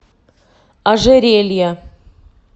ожерелья